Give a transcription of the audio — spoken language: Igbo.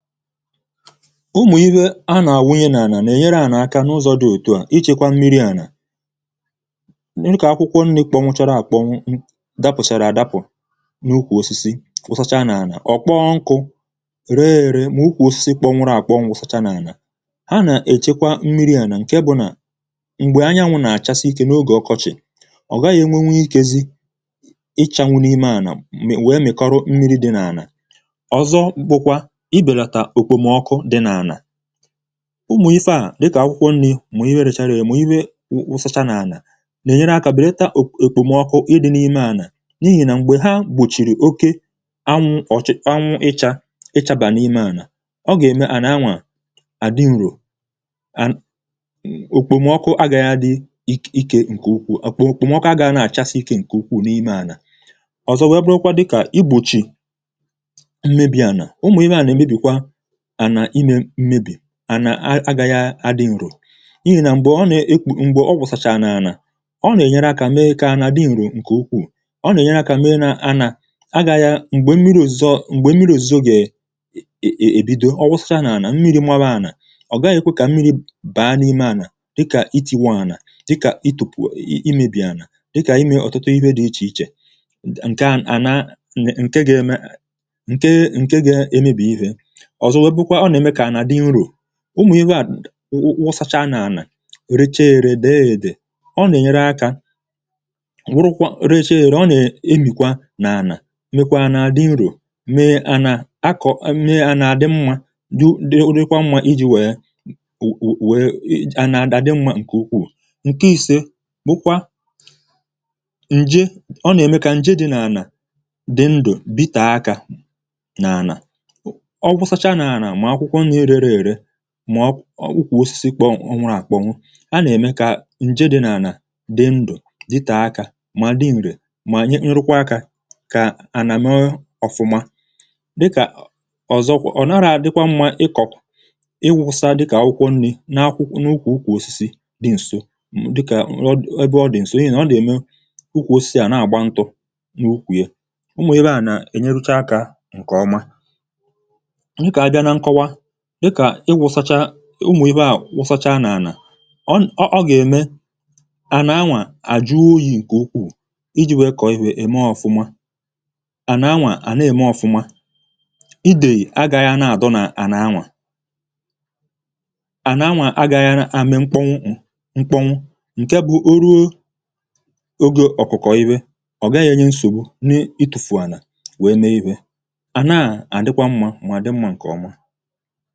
Ụmụ̀ ihe a nà-àwụ ihe nà-ànà nà-ènyere ànà aka n’ụzọ̇ dị òtù à ichėkwȧ mmiri̇ ànà, n’ikà akwụkwọ nri̇ kpọ̀nwụchara àkpọ̀nwụ dapụ̀chàrà adapụ̀ n’ukwù osisi wụsacha nà-ànà, ọ̀ kpọọ nkụ̇ ree èrè m̀ukwù osisi kpọ̀nwụrụ àkpọ̀ nwụsacha n’ànà, ha nà-èchekwa mmiri̇ ànà ǹkè bụ̀ nà m̀gbè anyanwụ̇ nà-àchasị ikė n’ogè ọkọchị̀, ọ gaghị̇ enwenwu ikėzi ichànwụ̇ n’ime ànà wèe mị̀kọrụ mmiri̇ dị̇ nà-ànà. ọzọ bụkwa ịbelata ọkpmọkụ dị na ana, ụmụ̀ ifeà dịkà akwụkwọ nni̇, mụ̀ iwe rechara ere, mụ̀ iwe wụsacha n’ànà nà-ènyere akȧ bụ̀ data èkpòmọkụ ịdị n’imeànà n’ihì nà m̀gbè ha gbùchìrì oke anwụ ichȧ ichȧbà n’imeànà ọ gà-ème à nà-anwà àdị nro, èkpòmọkụ agà ya dị̇ ikė ǹkè ukwuù ọ̀kpụ òkpùmọkụ agȧghị̇ à na-àchasị ikė ǹkè ukwuù n’imeànà. ọ̀zọ wee bụrụkwa dịkà i gbòchì mmebi̇ànà, ụmụ ịhe a na emebikwa ànà ịme mmebị, ana agaghị adị̇ ṅrò, n’ ihi nà m̀gbè ọ nà ekwù m̀gbè ọ wụ̀sàcha n’anà, ọ nà ènyere akȧ mee kà ànà ndị ṅrò ǹkè ukwuù, ọ nà ènyere akȧ mee n’anà agȧghị̇ m̀gbè mmiri̇ òzizo gị̀ è è èbido, ọ wụsacha n’anà mmiri̇ mwaba anà ọ̀ gaghị̇ ekwe kà mmiri̇ baa n’ime anà dịkà ịti̇wà anà, dịkà ị tùpù imėbì anà, dịkà imė ọ̀tụtụ ihe dị̇ ichè ichè nkè ànà a nkè ga-eme nkè ga-eme emėbì ihe. ọzọ wèè bụrụkwà ọna eme kà ana dị ṅrọ, ụmụ̀ ihe à wụsacha n’anà riche èrè dị̀ èdè ọ nà-ènyere akȧ wụrụkwa riche èrè, ọ nà-emìkwa n’anà mekwa n’adị̇ nro, mee ànà akọ̀, mee ànà adị mmȧ dị, dị, orekwa mmȧ iji̇ wèe wèe a nà-àdị mmȧ ǹkè ukwuù. ǹke isė ǹje, ọ nà-ème kà ǹje dị n’anà dị ndụ̀, bite akȧ n’anà, ọwụsachaa na ana mà ọ ọ̀kwụkwọ̇ osisi kpọ̀ọnwụ̇ àkpọnwụ a nà-ème kà ǹje dị̇ nà ànà dị ndụ̀, dị tàa akȧ ma dị ǹrì, ma nrụkwa akȧ kà ànà mee ọ̀fụma. dịkà ọ̀zọkwọ̀, ọ̀ naghị̇ àdịkwa mmȧ ịkọ̀, ịwụ̇sa dịkà ọ̀kwụkwọ nri̇ n’akwụkwọ̇ n’ukwù osisi dị̇ ǹso dịkà ọ̀ dụ ọdị̇ ǹso ịhà ọ dị̀ ème ukwù osisi à nà-àgba ntụ̇ n’ukwù ye, ụmụ̀ ebe à nà ènyerucha kà ǹkè ọma. abịa nà ṅkọwa dịkà ịwụ̇sacha ụmụ̀ iwe à wụsacha n’àlà, ọ ọ gà-ème à nà-anwà àjụ oyi̇ ǹkè ukwuu iji̇ wèe kọ̀ọ ihė ème ọ̀fụma à nà-anwà à nà-ème ọ̀fụma idèyì agaghị̇ ana-àdọ nà à na-anwà, à na-anwà agaghị̇ agaghị̇ àmị mkponwu, ṅ̀ke bụ̇ o ruo ogė ọ̀kụ̀kọ̀ iwe, ọ̀ gaghị̇ enye nsògbu n’ịtụ̇fù àlà wèe mee iwe à naà à dịkwa mmȧ mà dị mma ǹkè ọma foto.